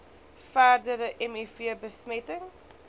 verdere miv besmetting